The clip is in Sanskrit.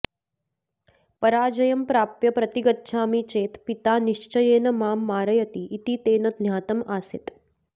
पराजयं प्राप्य प्रतिगच्छामि चेत् पिता निश्चयेन मां मारयति इति तेन ज्ञातम् आसीत्